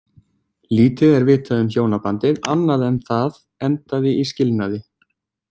Lítið er vitað um hjónabandið annað en það endaði í skilnaði.